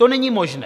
To není možné.